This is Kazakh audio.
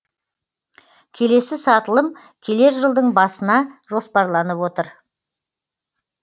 келесі сатылым келер жылдың басына жоспарланып отыр